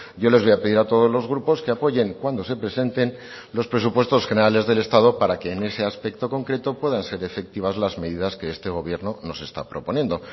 yo les voy a pedir a todos los grupos que apoyen cuando se presenten los presupuestos generales del estado para que en ese aspecto concreto puedan ser efectivas las medidas que este gobierno nos está proponiendo